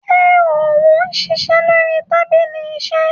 ṣe òun ṣiṣẹ lórí tábìlì iṣe